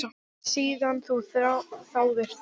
Síðan þú þáðir það?